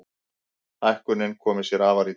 Hækkunin komi sér afar illa.